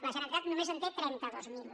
la generalitat només en té trenta dos mil